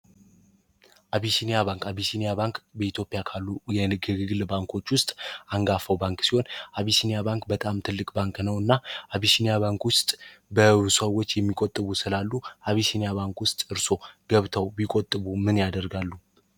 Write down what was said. አቢባአቢሲኒያ ባንክ በኢትዮጵያ ካሉ የግግግል ባንኮች ውስጥ አንጋፈው ባንክ ሲሆን አቢሲኒያ ባንክ በጣም ትልቅ ባንክ ነውእና አቢሽኒያ ባንክ ውስጥ በሰዎች የሚቆጥቡ ስላሉ አቢስኒያ ባንክ ውስጥ እርሶ ገብተው ቢቆጥቡ ምን ያደርጋሉ።